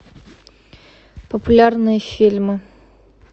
популярные фильмы